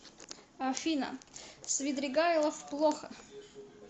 афина свидригайлов плохо